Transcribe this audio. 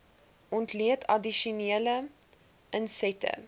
ontleed addisionele insette